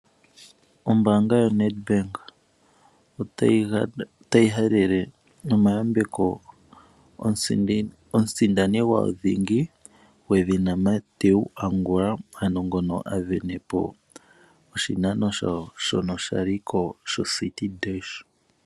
Ombaanga yoNedbank otayi gandja omahaleloyambeko omusindani thingi Mathew Angula ngono a sindana po oshinano shawo shono sha liko shocity dash.